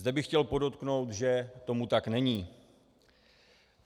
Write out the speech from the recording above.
Zde bych chtěl podotknout, že tomu tak není.